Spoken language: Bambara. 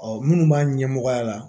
Ɔ minnu b'a ɲɛmɔgɔya la